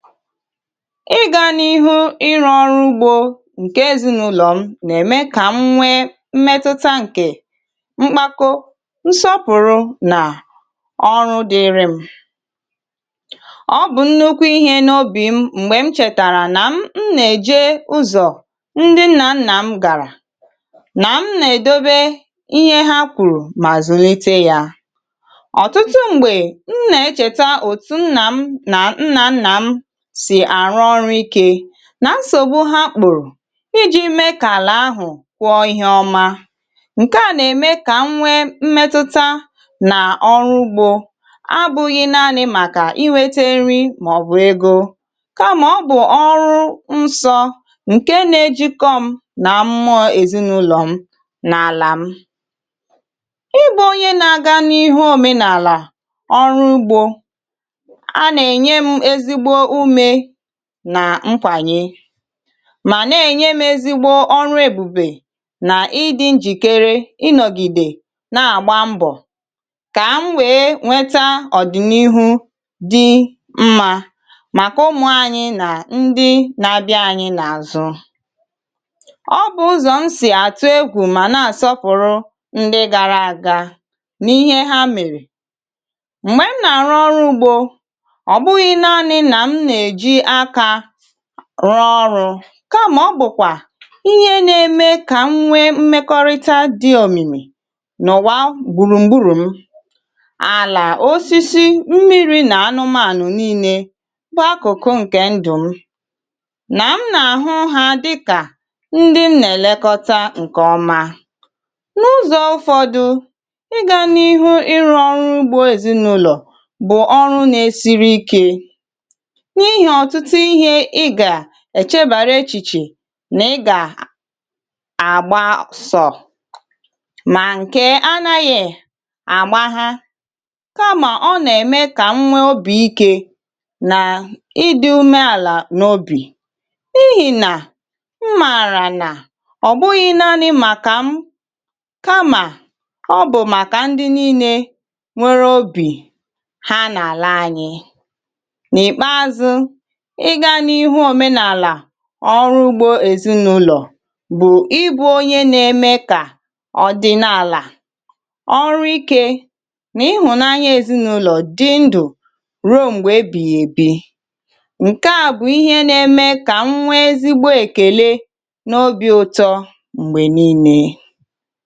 ị gà n’ihu ịrụ́ ọrụ ugbò nke èzinụ̀lọ̀ m, nà-ème kà m nwee mmetụta nke mkpàkọ̀ nsọpụ̀rụ̀ nà ọrụ dịịrị m. ọ bụ̀ nnọ́kwú ihe n’obì m mgbè m chètàrà nà m nà-èje ụzọ̀ ndị nnà nnà m gàrà nà m nà-èdobe ihe ha kwùrù mà zùlite ya. ọ̀tụtụ mgbè m nà-echeta òtù nnà m nà nna m nà nsògbu ha kpụ̀rụ̀ ijī mèlà àhụ̀ kwa ihe ọma, nke a nà-ème kà m nwee mmetụ̀tà nà ọrụ ugbò a. bụ̄ghị̄ naanị̄ màkà iwètè nri màọbụ̀ ego, kàmà ọ bụ̀ ọrụ nsọ nke nà-ejikọ m nà mụ̀m ezinụ̀lọ̀ m n’àlà m. ị bụ̄ onye nà-aga n’ihu òmenààlà ọrụ ugbò nà nkwànyè, mà nà-ènye m èzìgbo ọrụ èbùbè nà ịdị̄ njìkèrè ịnọ̀gide nà-àgba mbọ̀ kà m nwee nweta ọ̀dị̀nihu dị mma màkà ụmụ̀ anyị nà ndị nà-abịa anyị n’àzụ. ọ bụ̄ ụzọ̀ m sì àtụ́ egwù mà nà-àsọpụ̀rụ̀ ndị gàrà àga n’ihe ha mèrè. mgbè m nà-àrụ́ ọrụ ugbò, rụọ́ ọrụ̄, kamà ọ bụ̀kwà ihe nà-ème kà m nwee mmekọrịta dị̄ òmìmì nà ọ̀bụ̀rụ̀ mgbùrùmgbùrù. m àlà, osisi, mmiri, nà anụmànụ̀ niile bụ̀ akụ̀kụ nke ndụ̀ m, nà m nà-àhụ́ ha dịkà ndị m nà-elekọta nke ọma. n’ụzọ̄ ụfọdụ̄, ịga n’ihu ịrụ́ ọrụ ugbò èzinụ̀lọ̀ bụ̀ ọrụ nà-esiri ike, um èchebàrà echiche nà ị gà àgba ụsọ̄, mà nke à nà-anàghị̀ àgba ha; kamà ọ nà-ème kà m nwee obi ike nà ịdị̄ ume àlà n’obì, n’ihìnà m mààrà nà ọ̀ bụghị̄ naanị̄ màkà m, kamà ọ bụ̀ màkà ndị niile nwere obì ha n’àlà anyị. ịga n’ihu òmenààlà ọrụ ugbò èzinụ̀lọ̀ bụ̀ ịbụ̄ onye nà-ème kà ọ̀dị̀naàlà, ọrụ ike nà ịhụ̀nanya èzinụ̀lọ̀ dị ndụ̀ ruo mgbè ebìghì èbi. nke à bụ̀ ihe nà-ème kà m nwee ezigbo èkèlè n’obì ụtọ mgbè niile.